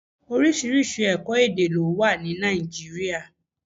Oríṣiríṣi ẹ̀kọ́-èdè ló wà ní Nàìjíríà.